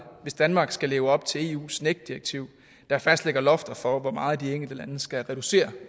hvis danmark skal leve op til eu’s nec direktiv der fastlægger lofter for hvor meget de enkelte lande skal reducere